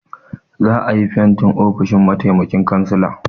Za a yi fentin ofishin mataimakin cansala.